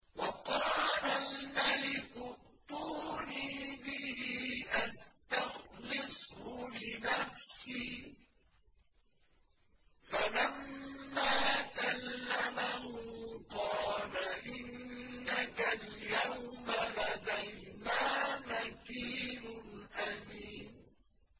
وَقَالَ الْمَلِكُ ائْتُونِي بِهِ أَسْتَخْلِصْهُ لِنَفْسِي ۖ فَلَمَّا كَلَّمَهُ قَالَ إِنَّكَ الْيَوْمَ لَدَيْنَا مَكِينٌ أَمِينٌ